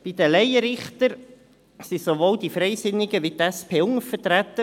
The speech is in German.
Bei den Laienrichtern sind sowohl die Freisinnigen als auch die SP untervertreten.